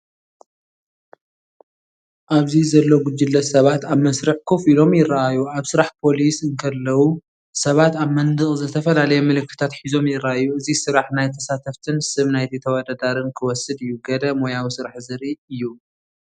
ኣብዚ ዘሎ ጉጅለ ሰባት ኣብ መስርዕ ኮፍ ኢሎም ይረኣዩ። ኣብ ስራሕ ፖሊስ እንከለዉ፡ ሰባት ኣብ መንደቕ ዝተፈላለየ ምልክታት ሒዞም ይረኣዩ። እዚ ስራሕ ናይቲ ተሳታፍን ስም ናይቲ ተወዳዳሪን ክወስድ እዩ፣ ገለ ሞያዊ ስራሕ ዘርኢ እዩ።